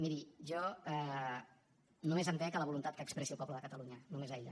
miri jo només em dec a la voluntat que expressi el poble de catalunya només a ella